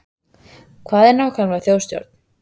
Hvað er nákvæmlega þjóðstjórn?